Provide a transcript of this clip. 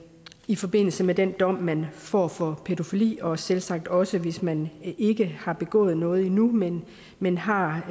i forbindelse med den dom man får for pædofili og selvsagt også hvis man ikke har begået noget endnu men men har